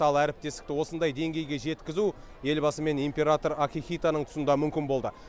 ал әріптестікті осындай деңгейге жеткізу елбасы мен император акихитоның тұсында мүмкін болды